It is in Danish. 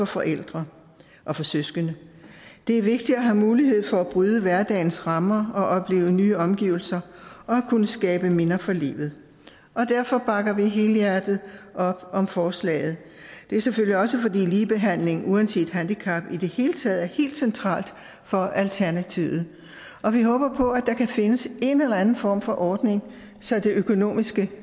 forældre og for søskende det er vigtigt at have mulighed for at bryde hverdagens rammer og opleve nye omgivelser og at kunne skabe minder for livet derfor bakker vi helhjertet op om forslaget det er selvfølgelig også fordi ligebehandling uanset handicap i det hele taget er helt centralt for alternativet og vi håber på at der kan findes en eller anden form for ordning så det økonomiske